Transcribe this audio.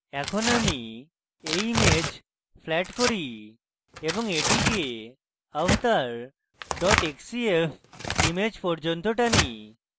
এখন আমি এই image ফ্ল্যাট করি এবং এটিকে avatar xcf image পর্যন্ত টানি